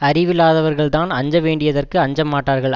அறிவில்லாதவர்கள்தான் அஞ்ச வேண்டியதற்கு அஞ்ச மாட்டார்கள்